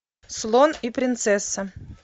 слон и принцесса